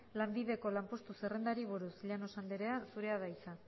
lanbideko lanpostu zerrendari buruz llanos andrea zurea da hitza